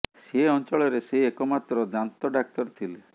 ସେ ଅଞ୍ଚଳରେ ସେ ଏକ ମାତ୍ର ଦାନ୍ତ ଡାକ୍ତର ଥିଲେ